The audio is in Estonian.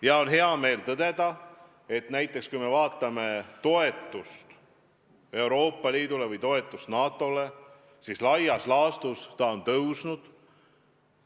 Ja on hea meel tõdeda, et kui me vaatame näiteks toetust Euroopa Liidule või toetust NATO-le, siis laias laastus on see suurenenud.